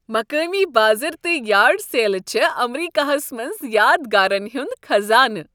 مقٲمی بازر تہٕ یارڈ سیلہٕ چھےٚ امریکہس منٛز یادگارن ہنٛد خزانہٕ۔